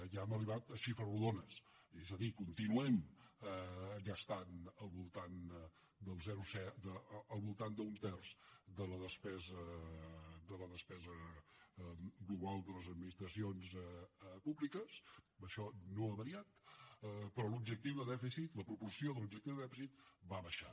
ja hem arribat a xifres rodones és a dir continuem gastant al voltant d’un terç de la despesa global de les administracions públiques això no ha variat però l’objectiu de dèficit la proporció de l’objectiu de dèficit va baixant